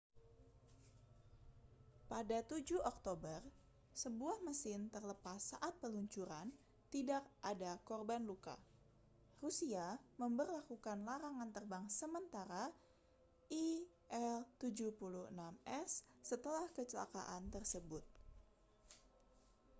pada 7 oktober sebuah mesin terlepas saat peluncuran tidak ada korban luka rusia memberlakukan larangan terbang sementara il-76s setelah kecelakaan tersebut